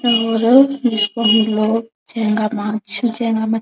और जिसको हमलोग झींगा माछ झेंगा मछ --